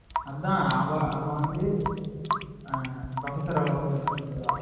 அதான்டா அதான் அவ வந்துட்டு professor love பண்ண ஆரம்பிச்சுருவா